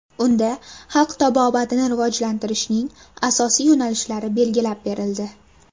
Unda xalq tabobatini rivojlantirishning asosiy yo‘nalishlari belgilab berildi.